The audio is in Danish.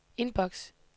indboks